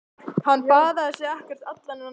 Hann baðaði sig ekkert allan þennan tíma.